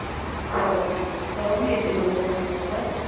हो नाही तू करून घे ते लवकरात लवकर.